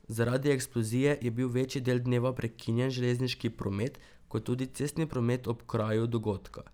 Zaradi eksplozije je bil večji del dneva prekinjen železniški promet kot tudi cestni promet ob kraju dogodka.